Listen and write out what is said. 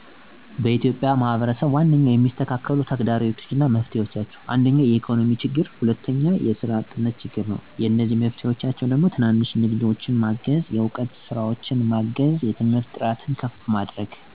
በኢትዮጵያ የማህበረሰብች ዋናኛ የሚስተካከሉ ተግደሮቶች አና መፍትሔዎች እንደሚከተለው ነዉ። 1 ኢኮኖሚያዊ ችግሮች ዋጋ፣ ንጥረ፣ ሰራ እጥረት። መፍትሔ፦ ትናንሽ ንግዳችን ማገዝ፣ የዕውቀትና ስራዎችን ማሳደግ። የትምህርት እጥረት የትምህርትቤቶች/መምህራን አለማብቃቱን፣ ዲጀታል ከፍተታ። መፍትሔ፦ የአካባቢ ትምህርትቤቶችን ማብቃት፣ የቴክኖሎጂ አስደሳች። የጤና አገልግሎት እጥረት የጤና ማእከሎች አለማብቃት፣ ንጽህና ዉኃ እጥረት። ማሀበራዊ አለመመጣጠን